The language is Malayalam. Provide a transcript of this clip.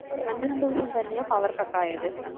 വന്ദനം ദിവസം തന്നെയാ power cut ആയത്